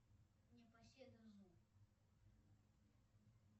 непоседа зу